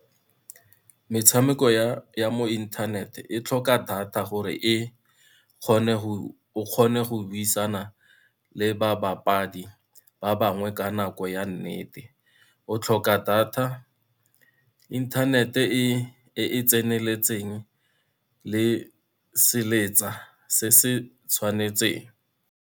Metshameko ya mo internet, e tlhoka data gore e o kgone go buisana le babapadi ba bangwe ka nako ya nnete, o tlhoka data, internet-e e e tseneletseng le seletsa se se tshwanetseng.